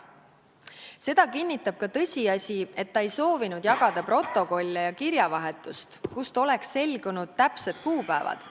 Seda kinnitab ka tõsiasi, et ta ei soovinud jagada protokolle ja kirjavahetust, kust oleks selgunud täpsed kuupäevad.